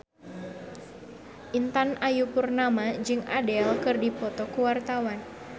Intan Ayu Purnama jeung Adele keur dipoto ku wartawan